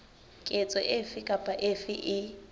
ketso efe kapa efe e